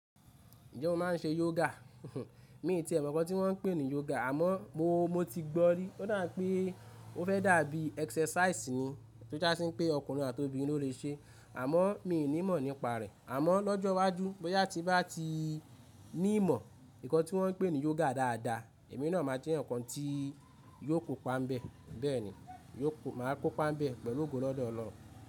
Ǹjẹ́ o maa n se yoga? Mi o ti mọ̀ nnkàn tí wọ́n ń pè ní yoga, àmọ́ mo ti gbọ́ rí. Ó dà pé ó fẹ́ dàbí exercise ni tí ó jásí pé ọkùnrin àti obìnrin ló lè ṣe, àmọ́ mi ò ní mọ̀ nípa rẹ̀. Àmọ́ lọ́jọ́ iwájú bóyá tí bá ti ní ìmọ̀ nǹkan tí wọ́n ń pè ní yoga dáadáa, èmi náà máa jẹ́ nǹkan tí yóò kó páńbẹ̀. Bẹ́ẹ̀ni, màá kó páńbẹ̀ pẹ̀lú ògùn lọ́dọ̀ ọ̀'loun.